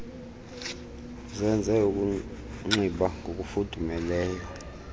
uzenze ukunxiba ngokufudumeleyo